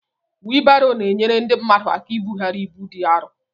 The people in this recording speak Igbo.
wịịlbarò na-enyere ndị mmadụ ákà íbughari ịbú dị árọ